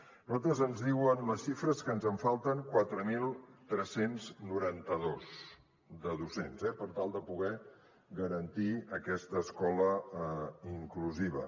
a nosaltres ens diuen les xifres que ens en falten quatre mil tres cents i noranta dos de docents eh per tal de poder garantir aquesta escola inclusiva